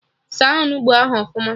Saa Onugbu ahụ ọfụma!